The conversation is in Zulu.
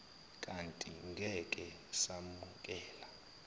kanti ngeke samukela